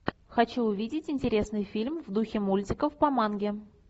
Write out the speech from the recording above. хочу увидеть интересный фильм в духе мультиков по манге